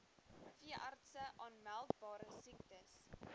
veeartse aanmeldbare siektes